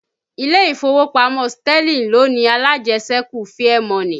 Ilé ìfowópamọ́ Sterling ló ni alájẹsẹ́kù Fairmoney